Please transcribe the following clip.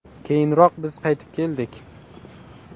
Keyinroq biz qaytib keldik.